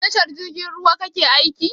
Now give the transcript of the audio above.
A tashar jirgin ruwa kake aiki?